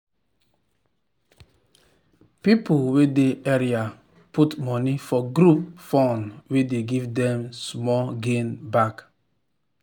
people wey dey area put money for group fund wey dey give them small gain back.